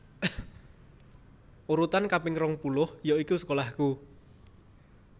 Urutan kaping rong puluh yoiku sekolahku